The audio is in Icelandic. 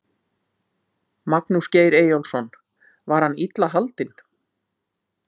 Magnús Geir Eyjólfsson: Var hann illa haldinn?